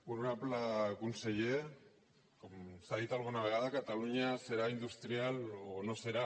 honorable conseller com s’ha dit alguna vegada catalunya serà industrial o no serà